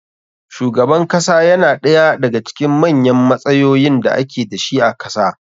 Shugaban kasa yana ɗaya da ga cikin manyan matsayoyin da ake dashi a kasa